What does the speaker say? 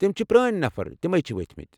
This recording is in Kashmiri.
تِمۍ چھِ پرٲنۍ نفر تِمے چھِ وٕتھِمٕتۍ ۔